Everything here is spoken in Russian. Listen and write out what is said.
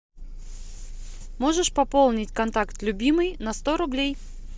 можешь пополнить контакт любимый на сто рублей